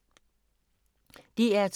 DR2